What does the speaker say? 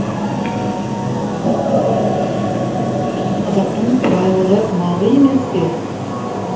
қазақтың байлығы малы емес пе